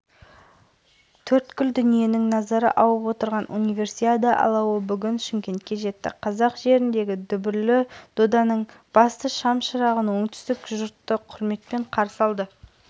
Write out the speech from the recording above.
арнайы дэви шамына салынған студенттік ойындар алауын алматыға осы элизабет тұрсынбаева жеткізеді мәнерлеп сырғанаудан қазақстанның дүркін жеңімпазы атанған сырбойылық өрен алатау